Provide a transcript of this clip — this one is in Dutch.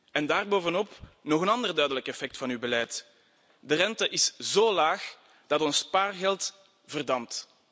En daarbovenop nog een andere duidelijk effect van uw beleid de rente is zo laag dat ons spaargeld verdampt.